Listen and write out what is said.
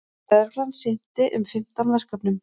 Lögreglan sinnti um fimmtán verkefnum